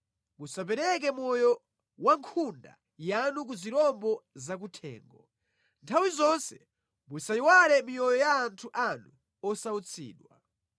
Musapereke moyo wa nkhunda yanu ku zirombo zakuthengo; nthawi zonse musayiwale miyoyo ya anthu anu osautsidwa.